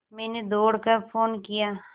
मैंने दौड़ कर फ़ोन किया